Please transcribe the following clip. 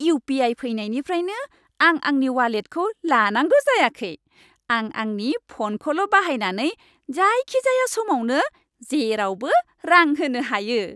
UPI. फैनायनिफ्रायनो आं आंनि वालेटखौ लांनांगौ जायाखै। आं आंनि फ'नखौल' बाहायनानै जायखिजाया समावनो जेरावबो रां होनो हायो।